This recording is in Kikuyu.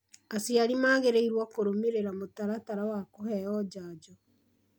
Aciari magĩrĩirũo kũrũmĩrĩra mũtaratara wa kũheo njanjo